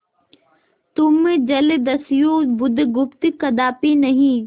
तुम जलदस्यु बुधगुप्त कदापि नहीं